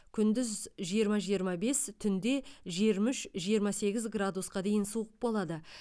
күндіз жиырма жиырма бес түнде жиырма үш жиырма сегіз градусқа дейін суық болады